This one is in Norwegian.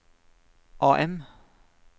AM